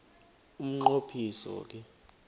umnqo phiso ke